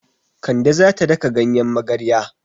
Kande za ta daka ganyen magarya.